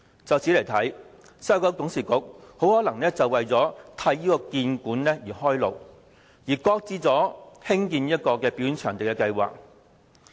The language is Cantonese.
由此可見，西九管理局董事局很可能是為了替興建故宮館開路，而擱置興建表演場地的計劃。